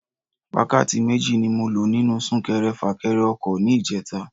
Wákàtí méjì ni mo lo nínú Sún-kẹrẹ-fà-kẹrẹ ọkọ̀ ní ìjeta